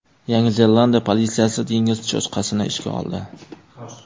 Yangi Zelandiya politsiyasi dengiz cho‘chqasini ishga oldi.